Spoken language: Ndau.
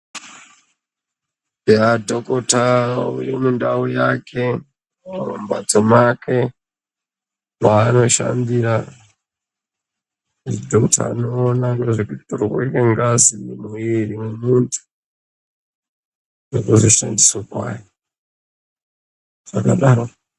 Eya, Dhokota uri mundau yake mumhatso mwake mwaanoshandira dhokota unone nezve kutorwa kwengazi mumwiri mwemuntu nekuzoshandiswa kwayo, zvakadaro.